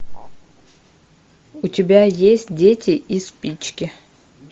у тебя есть дети и спички